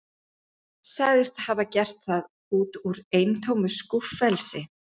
Sagðist hafa gert það út úr eintómu skúffelsi.